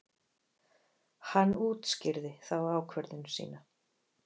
Hann útskýrði þá ákvörðun sína.